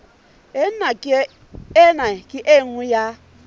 ena ke e nngwe ya